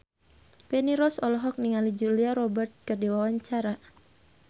Feni Rose olohok ningali Julia Robert keur diwawancara